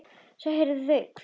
Svo heyrði ég þau hvísla.